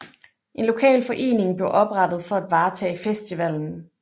En lokal forening blev oprettet for at varetage festivallen